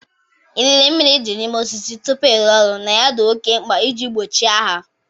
Ịlele mmiri dị n'ime osisi tupu ịrụ ọrụ na ya dị oké mkpa iji gbochie agha.